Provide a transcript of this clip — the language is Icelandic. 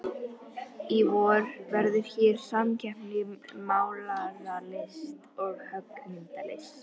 Í vor verður hér samkeppni í málaralist og höggmyndalist.